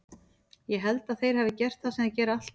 Ég held að þeir hafi gert það sem þeir gera alltaf.